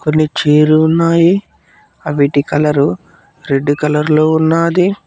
కొన్ని చేరున్నాయి అవిటి కలరు రెడ్ కలర్ లో ఉన్నది.